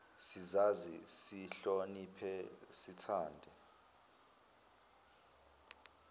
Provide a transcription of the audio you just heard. sizazi sizihloniphe sithande